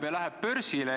Hea kolleeg!